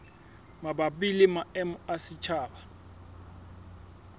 mabapi le maemo a setjhaba